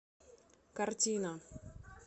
картина